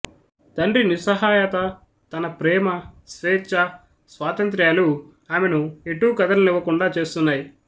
తండ్రి నిస్సహాయత తన ప్రేమ స్చేచ్ఛా స్వాతంత్ర్యాలు ఆమెను ఎటూ కదలనివ్వకుండా చేస్తున్నాయి